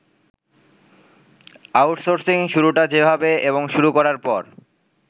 outsourcing শুরুটা যেভাবে এবং শুরু করার পর